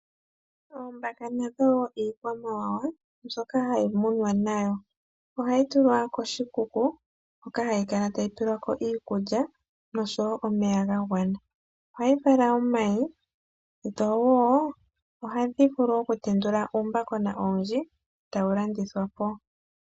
Oombaka nadho wo iikwamawawa mbyoka hayi munwa nayo, ohayi tulwa koshikuku hoka hayi kala tayi tulilwako iikulya noshowo omeya gagwana, ohayi vala omayi dhowo ohadhi vulu oku tendula uumbakona owundji etawu landi thwapo.